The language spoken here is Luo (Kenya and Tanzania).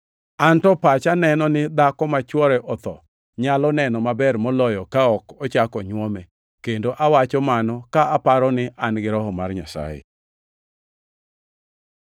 An to pacha neno ni dhako ma chwore otho nyalo neno maber moloyo ka ok ochak onywome, kendo awacho mano ka aparo ni an-gi Roho mar Nyasaye.